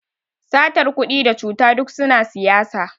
satar kudi da cuta duk suna siyasa